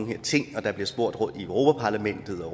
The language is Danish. her ting og der bliver spurgt fra europa parlamentets og